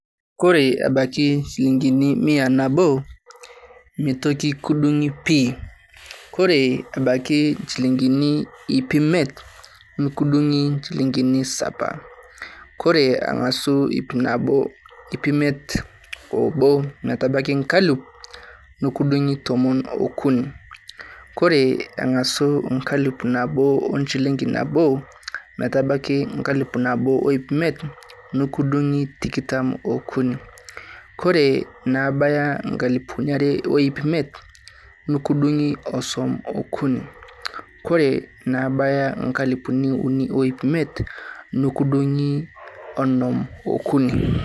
Kore embaiki inchilingini mia nabo, meetoki kidung'i pii. Kore ebaiki nchilingini ip imiet, nikidung'i inchilingini saba. Kore ang'asu ip imiet o obo metabaiki enkalifu, nekidung'i tomon o okuni. Kore eng'asu enkalifu nabo o enchilingi nabo, metabaiki enkalifu nabo o ip imiet, nekidung'i tikitam o okuni. Kore naabaya inkalifuni are o ip imiet, nikidung'i osom o okuni. Kore naabaya inkalifu uni o ip imiet, nikidung'i onom o okuni.